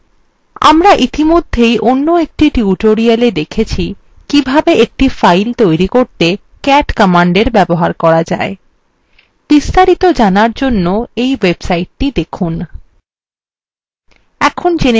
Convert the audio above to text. আমরা ইতিমধ্যেই অন্য একটি tutoriala দেখেছি কিভাবে একটি file তৈরি করতে cat command ব্যবহার করা যায় বিস্তারিত জানার জন্য we websitethe দেখুন